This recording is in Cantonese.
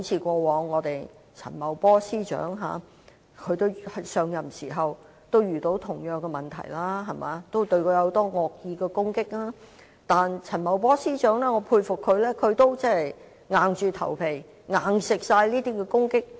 正如陳茂波司長在上任後亦遇過相同的問題，面對很多惡意攻擊，但我很佩服當時陳茂波司長硬着頭皮接受所有惡意攻擊。